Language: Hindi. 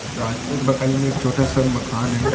रास्ते के बगल मे एक छोटा-सा मकान है।